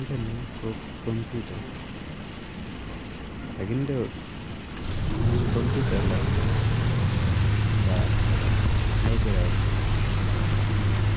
Ntani ko kombuta, kakinde eng kombuta lab nda labrary